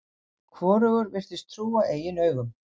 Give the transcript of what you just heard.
Hvorugur virtist trúa eigin augum.